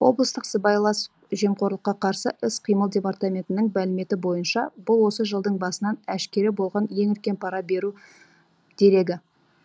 облыстық сыбайлас жемқорлыққа қарсы іс қимыл департаментінің мәліметі бойынша бұл осы жылдың басынан әшкере болған ең үлкен пара беру дерегі